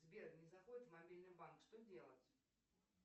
сбер не заходит в мобильный банк что делать